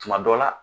Tuma dɔ la